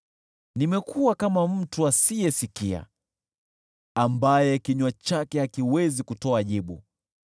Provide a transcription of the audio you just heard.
nimekuwa kama mtu asiyesikia, ambaye kinywa chake hakiwezi kutoa jibu.